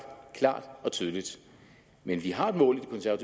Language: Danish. klart og tydeligt men vi har et mål